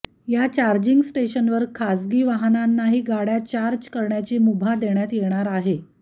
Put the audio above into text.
या चार्जिंग स्टेशनवर खासगी वाहनांनाही गाड्या चार्ज करण्याची मुभा देण्यात येणार आहे